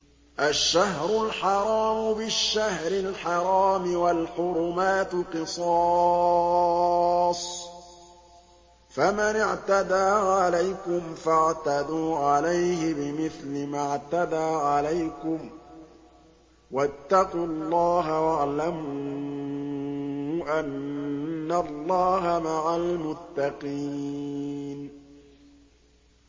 الشَّهْرُ الْحَرَامُ بِالشَّهْرِ الْحَرَامِ وَالْحُرُمَاتُ قِصَاصٌ ۚ فَمَنِ اعْتَدَىٰ عَلَيْكُمْ فَاعْتَدُوا عَلَيْهِ بِمِثْلِ مَا اعْتَدَىٰ عَلَيْكُمْ ۚ وَاتَّقُوا اللَّهَ وَاعْلَمُوا أَنَّ اللَّهَ مَعَ الْمُتَّقِينَ